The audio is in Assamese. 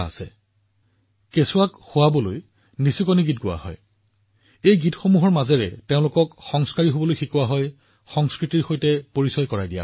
আমি সৰু লৰাছোৱালীক ওমলা গীতৰ জৰিয়তে সংস্কাৰদিছো তেওঁলোকক সংস্কৃতিৰ সৈতে পৰিচয় কৰাই দিছো